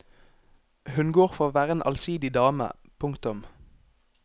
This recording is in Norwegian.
Hun går for å være en allsidig dame. punktum